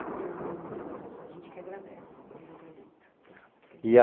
Em nome do Museu da Pessoa, a gente que agradece pelo depoimento.